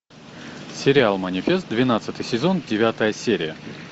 сериал манифест двенадцатый сезон девятая серия